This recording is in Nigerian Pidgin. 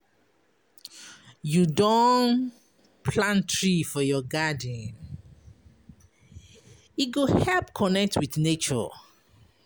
You don plant tree for your garden? E go help you connect wit nature.